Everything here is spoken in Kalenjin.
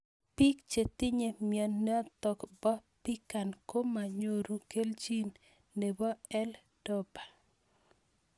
Pik che tinye mionitok po PKAN ko manyoru kelichin nepo L dopa